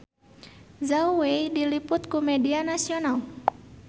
Zhao Wei diliput ku media nasional